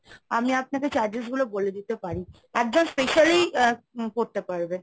আমি আপনাকে charges গুলো বলে দিতে পারি। একজন specially করতে পারবে।